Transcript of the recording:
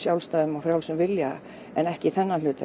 frjálsum vilja en ekki þennan hluta